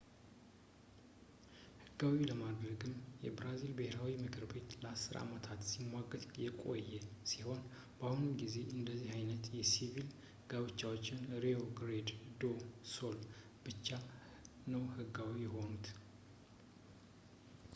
ሕጋዊ ለማድረግም የብራዚል ብሔራዊ ምክር ቤት ለ10 አመታት ሲሟገት የቆየ ሲሆን፣ በአሁኑ ጊዜ አንደዚህ ዓይነት የሲቪል ጋብቻዎች በrio grande do sul ብቻ ነው ሕጋዊ የሆኑት